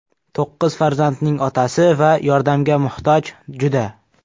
To‘qqiz farzandning otasi va yordamga muhtoj juda.